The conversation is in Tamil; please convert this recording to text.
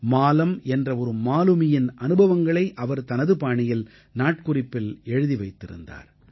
மாலம் என்ற ஒரு மாலுமியின் அனுபவங்களை அவர் தனது பாணியில் நாட்குறிப்பில் எழுதி வைத்திருந்தார்